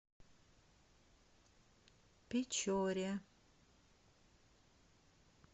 печоре